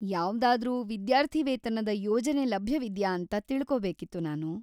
ಯಾವ್ದಾದ್ರೂ ವಿದ್ಯಾರ್ಥಿವೇತನದ ಯೋಜನೆ ಲಭ್ಯವಿದ್ಯಾ ಅಂತ ತಿಳ್ಕೊಬೇಕಿತ್ತು ನಾನು.